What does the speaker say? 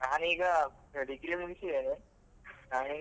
ನಾನ್ ಈಗ ಅ Degree ಮುಗಿಸಿದ್ದೇನೆ ನಾನ್ ಇನ್ನು.